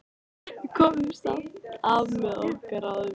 Við komumst af með okkar ráðum.